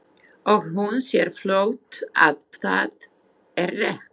Og hún sér fljótt að það er rétt.